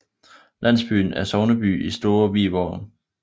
Landsbyen er sogneby i Store Vi Sogn